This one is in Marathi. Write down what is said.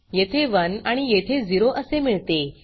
येथे 1 आणि येथे 0 असे मिळते